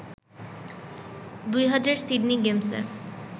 ২০০০ Sydney গেমসে